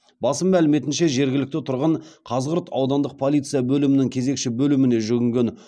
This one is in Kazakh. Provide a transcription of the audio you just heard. басылым мәліметінше жергілікті тұрғын қазығұрт аудандық полиция бөлімінің кезекші бөліміне жүгінген